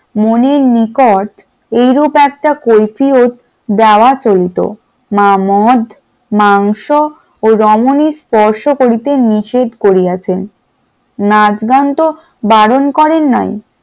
মনের নিকট এইরূপ একটা কৈফিয়ত দেওয়া চলতো, মা মদ, মাংস ও রমনী স্পর্শ করতে নিষেধ করিয়াছেন নাচ গান তো বারণ করেন নাই ।